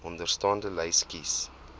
onderstaande lys kies